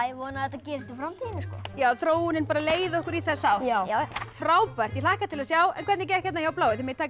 vona að þetta gerist í framtíðinni sko já þróunin leiði okkur í þessa átt já já frábært ég hlakka til að sjá en hvernig gekk hjá bláu þið megið taka